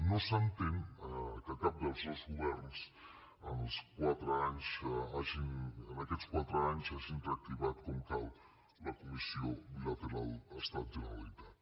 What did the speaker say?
no s’entén que cap dels dos governs en aquests quatre anys hagin reactivat com cal la comissió bilateral estat generalitat